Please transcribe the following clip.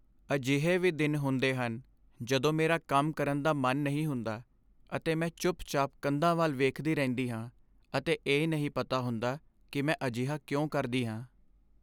ਅਜਿਹੇ ਵੀ ਦਿਨ ਹੁੰਦੇ ਹਨ ਜਦੋਂ ਮੇਰਾ ਕੰਮ ਕਰਨ ਦਾ ਮਨ ਨਹੀਂ ਹੁੰਦਾ ਅਤੇ ਮੈਂ ਚੁੱਪਚਾਪ ਕੰਧਾਂ ਵੱਲ ਵੇਖਦੀ ਰਹਿੰਦੀ ਹਾਂ ਅਤੇ ਇਹ ਨਹੀਂ ਪਤਾ ਹੁੰਦਾ ਕਿ ਮੈਂ ਅਜਿਹਾ ਕਿਉਂ ਕਰਦੀ ਹਾਂ।